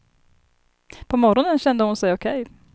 På morgonen kände hon sig okej.